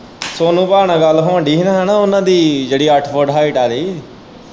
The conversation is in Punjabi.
ਸੋਨੂ ਭਾਅ ਨਾਲ ਗੱਲ ਹੋਣ ਦੀ ਹੀ ਓਹਨਾ ਦੀ ਜਿਹੜੀ ਅੱਠ ਫੁੱਟ height ਆਲੀ